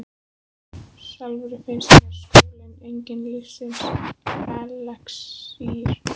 Sjálfri finnst mér skóli enginn lífsins elexír.